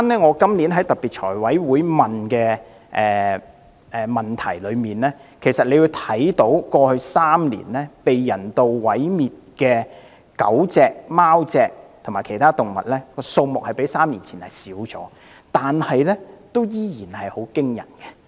我今年在特別財務委員會提出質詢，當中提及過去3年被人道毀滅的狗、貓及其他動物的數目較3年前少，但數目仍然很驚人。